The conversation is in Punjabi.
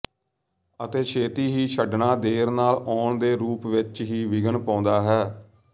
ਅਤੇ ਛੇਤੀ ਹੀ ਛੱਡਣਾ ਦੇਰ ਨਾਲ ਆਉਣ ਦੇ ਰੂਪ ਵਿੱਚ ਹੀ ਵਿਘਨ ਪਾਉਂਦਾ ਹੈ